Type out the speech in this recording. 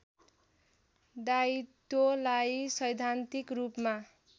दायित्वलाई सैद्धान्तिक रूपमा